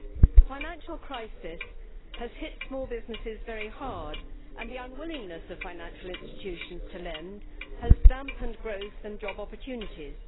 The financial crisis has hit small businesses very hard, and the unwillingness of financial institutions to lend has dampened growth and job opportunities.